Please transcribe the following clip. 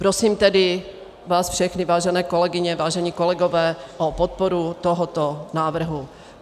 Prosím vás tedy všechny, vážené kolegyně, vážení kolegové, o podporu tohoto návrhu.